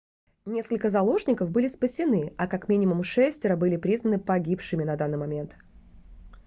несколько заложников были спасены а как минимум шестеро были признаны погибшими на данный момент